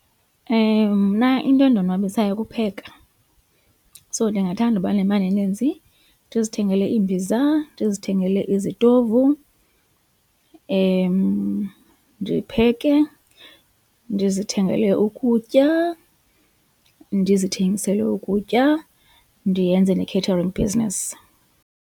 Mna into endonwabisayo kukupheka so ndingathanda uba nemali eninzi ndizithengele iimbiza, ndizithengele izitovu ndipheke, ndizithengele ukutya, ndizithengisele ukutya ndiyenze ne catering business.